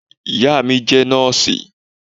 iyá mí jé nọọsi